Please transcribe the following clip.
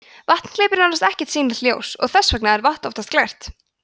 vatn gleypir nánast ekkert sýnilegt ljós og þess vegna er vatn oftast glært